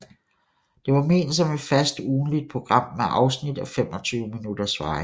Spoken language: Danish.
Det var ment som et fast ugentligt program med afsnit af 25 minutters varighed